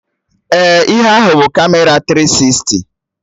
Ee, ihe ahụ bụ Kamera tiri sisti